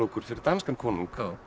fyrir danskan konung